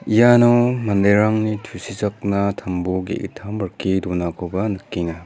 iano manderangni tusichakna tambo ge·gittam rike donakoba nikenga.